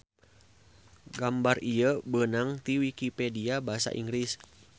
Gambar ieu beunang ti wikipedia basa Inggris.